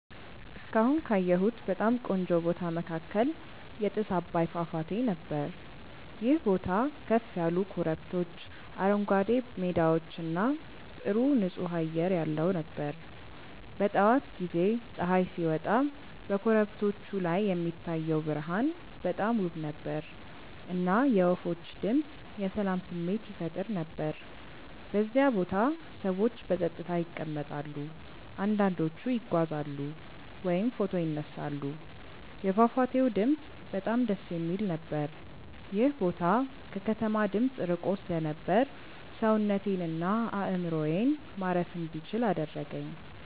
እስካሁን ካየሁት በጣም ቆንጆ ቦታ መካከል የጥስ አባይ ፏፏቴ ነበር። ይህ ቦታ ከፍ ያሉ ኮረብቶች፣ አረንጓዴ ሜዳዎች እና ጥሩ ንፁህ አየር ያለው ነበር። በጠዋት ጊዜ ፀሐይ ሲወጣ በኮረብቶቹ ላይ የሚታየው ብርሃን በጣም ውብ ነበር፣ እና የወፎች ድምፅ የሰላም ስሜት ይፈጥር ነበር። በዚያ ቦታ ሰዎች በጸጥታ ይቀመጣሉ፣ አንዳንዶቹ ይጓዛሉ ወይም ፎቶ ይነሳሉ። የፏፏቴው ድምፅ በጣም ደስ የሚል ነበር። ይህ ቦታ ከከተማ ድምፅ ርቆ ስለነበር ሰውነቴን እና አእምሮዬን ማረፍ እንዲችል አደረገኝ።